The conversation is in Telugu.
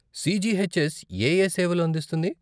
సీజీహెచ్ఎస్ ఏఏ సేవలు అందిస్తుంది?